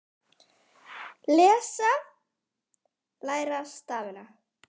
Lesa- læra stafina